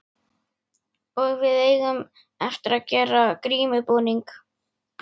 Og við eigum eftir að gera grímubúning.